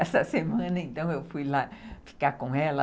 Essa semana, então, eu fui lá ficar com ela.